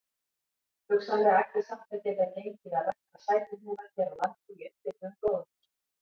Hugsanlega ætti samt að geta gengið að rækta sætuhnúða hér á landi í upphituðum gróðurhúsum.